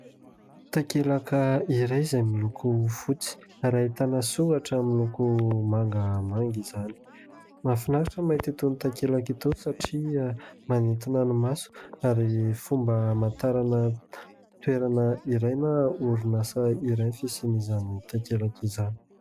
Takelaka iray izay miloko fotsy ary ahitana soratra miloko mangamanga izany. Mahafinaritra ny mahita itony takelaka itony satria manintona ny maso ary fomba hamantarana toerana iray na orinasa iray ny fisian'izany takelaka izany.